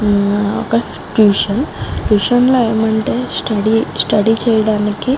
ఇది ఒక్క tuition . Tuition లో ఎం అంటే స్టడీ స్టడీ చేయడానికి --